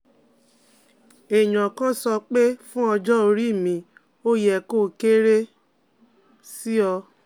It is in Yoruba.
Èèyàn kan sọ pé fún ọjọ́ orí mi ó yẹ kó kéré sí 0